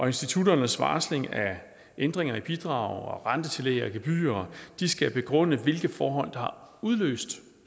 institutternes varsling af ændringerne i bidrag rentetillæg og gebyrer skal begrundes med hvilke forhold der har udløst